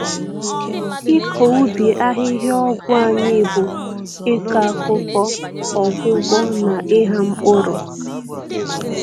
Ịkọ ubi ahịhịa ọgwụ anyị bụ ịkọ akụkọ, ọgwụgwọ, na ịgha mpkụrụ.